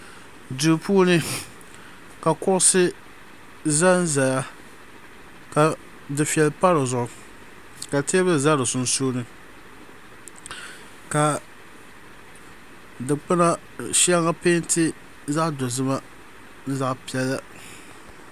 Duu puuni ka kuɣusi zanzaya ka dufɛli pa di zuɣu ka teebuli za di sunsuuni ka dukpuna shɛŋa peenti zaɣ'dozima ni zaɣ'piɛla.